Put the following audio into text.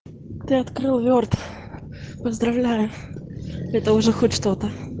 ты открыл ворд поздравляю это уже хоть что-то